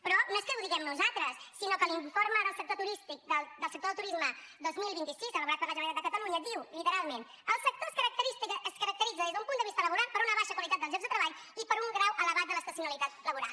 però no és que ho diguem nosaltres sinó que l’informe del sector del turisme dos mil vint sis elaborat per la generalitat de catalunya diu literalment el sector es caracteritza des d’un punt de vista laboral per una baixa qualitat dels llocs de treball i per un grau elevat de l’estacionalitat laboral